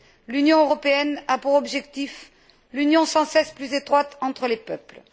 L'Union européenne a pour objectif l'union sans cesse plus étroite entre les peuples.